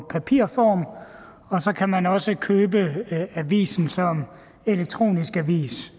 papirform og så kan man også købe avisen som elektronisk avis